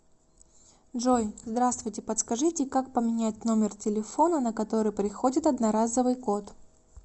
джой здравствуйте подскажите как поменять номер телефона на который приходит одноразовый код